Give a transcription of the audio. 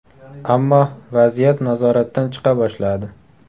Ammo vaziyat nazoratdan chiqa boshladi.